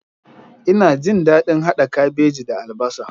Ina jin daɗin hada kabeji da albasa.